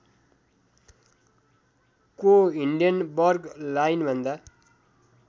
को हिन्डेनबर्ग लाइनभन्दा